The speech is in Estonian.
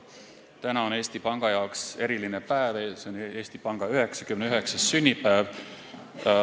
Täna on Eesti Panga jaoks eriline päev, 99. sünnipäev.